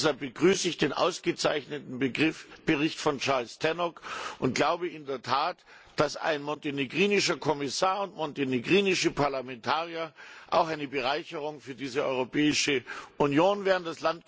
Deshalb begrüße ich den ausgezeichneten Bericht von Charles Tannock und glaube in der Tat, dass ein montenegrinischer Kommissar und montenegrinische Parlamentarier auch eine Bereicherung für diese Europäische Union wären.